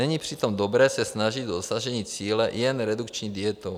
Není přitom dobré se snažit o dosažení cíle jen redukční dietou.